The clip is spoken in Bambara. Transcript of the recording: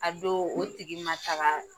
A don o tigi ma taga .